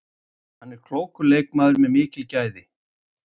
Hann er klókur leikmaður með mikil gæði.